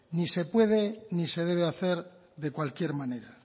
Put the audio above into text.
ni se puede ni se debe hacer de cualquier manera